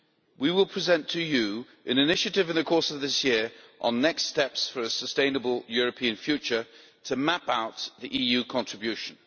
We will present to you an initiative in the course of this year on next steps for a sustainable European future' to map out the EU contribution.